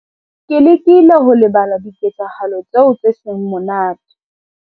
ke lekile ho lebala diketsahalo tseo tse seng monate.